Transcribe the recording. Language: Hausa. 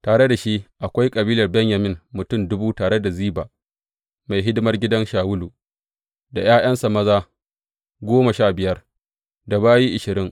Tare da shi akwai kabilar Benyamin mutum dubu, tare da Ziba, mai hidimar gidan Shawulu, da ’ya’yansa maza goma sha biyar, da bayi ashirin.